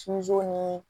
ni